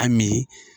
A mi